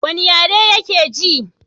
wani yare yake ji?